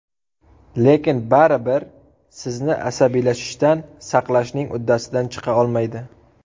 Lekin baribir sizni asabiylashishdan saqlashning uddasidan chiqa olmaydi.